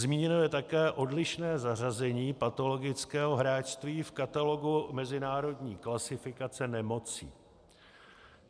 Zmíněno je také odlišné zařazení patologického hráčství v katalogu mezinárodní klasifikace nemocí.